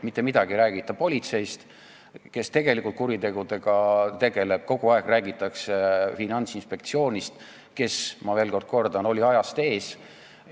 Mitte midagi ei räägita politseist, kes tegelikult kuritegude uurimisega tegeleb, kogu aeg räägitakse Finantsinspektsioonist, kes, ma veel kord kordan, oli ajast ees.